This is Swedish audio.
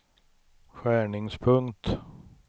skärningspunkt